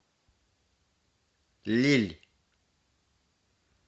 лилль